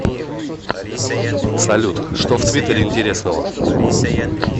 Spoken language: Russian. салют что в твиттере интересного